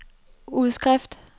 udskrift